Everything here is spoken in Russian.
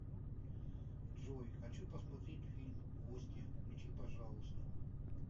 джой хочу посмотреть фильм гостья включи пожалуйста